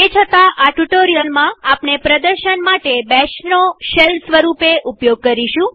તે છતાંઆ ટ્યુ્ટોરીઅલમાં આપણે પ્રદર્શન માટે બેશનો શેલ સ્વરૂપે ઉપયોગ કરીશું